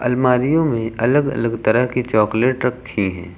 अलमारीयों में अलग अलग तरह के चॉकलेट रखे हैं।